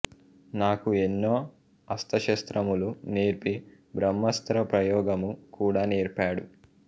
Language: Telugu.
నాకు ఎన్నో అస్త్రశస్త్రములు నేర్పి బ్రహ్మాస్త్ర ప్రయోగము కూడా నేర్పాడు